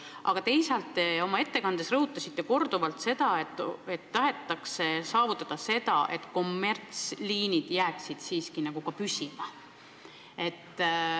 Aga teisalt, te oma ettekandes rõhutasite korduvalt, et tahetakse saavutada seda, et kommertsliinid jääksid siiski ka püsima.